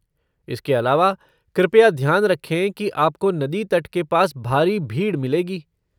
इसके अलावा, कृपया ध्यान रखें कि आपको नदी तट के पास भारी भीड़ मिलेगी।